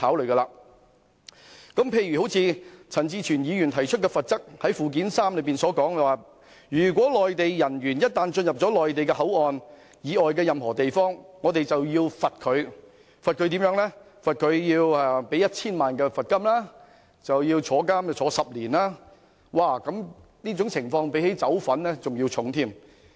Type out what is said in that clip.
舉例而言，陳志全議員提出罰則條文，訂明內地人員一旦進入內地口岸區範圍以外的任何地方，即屬犯罪，可處罰款 1,000 萬元及監禁10年，罰則較販毒還要嚴重。